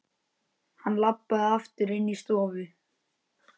Hann labbaði aftur inní stofu.